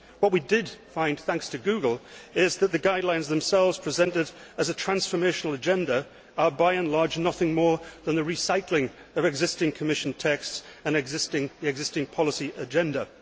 What we did find thanks to Google is that the guidelines themselves, presented as a transformational agenda, are, by and large, nothing more than a recycling of existing Commission texts and the existing policy agenda.